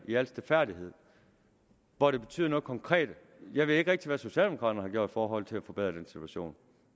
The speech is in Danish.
i al stilfærdighed hvor det betyder noget konkret jeg ved ikke rigtig hvad socialdemokraterne har gjort i forhold til at forbedre den situation